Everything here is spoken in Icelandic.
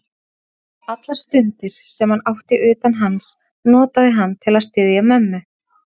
Allar stundir, sem hann átti utan hans, notaði hann til að styðja mömmu.